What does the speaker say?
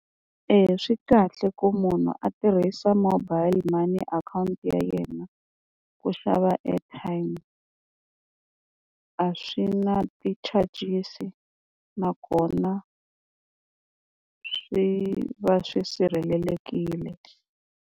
Eya swi kahle ku munhu a tirhisa mobile money akhawunti ya yena ku xava airtime a swi na ti-charges-i nakona swi va swi sirhelelekile.